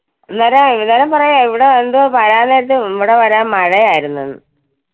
അന്നേരം ഇന്ന് ~ഇന്നലെ പറയുവാ ഇവിടെ എന്തോ വരാൻ നേരത്തു അഹ് ഇവിടെ വരാൻ മഴ ആയിരുന്നു എന്ന്.